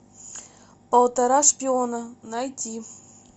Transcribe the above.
полтора шпиона найти